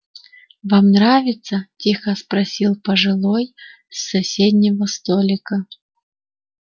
вам нравится тихо спросил пожилой с соседнего столика